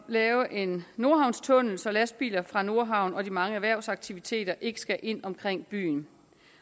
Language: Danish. lave en nordhavnstunnel så lastbiler fra nordhavn og de mange erhvervsaktiviteter ikke skal ind omkring byen